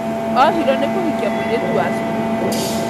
Ohirwo nĩ kũhikia mũirĩtu wa cukuru